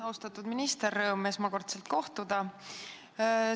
Austatud minister, rõõm esmakordselt kohtuda!